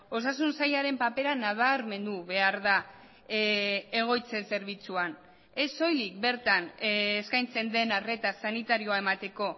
osasun sailaren papera nabarmendu behar da egoitzen zerbitzuan ez soilik bertan eskaintzen den arreta sanitarioa emateko